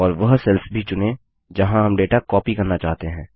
और वह सेल्स भी चुनें जहाँ हम डेटा कॉपी करना चाहते हैं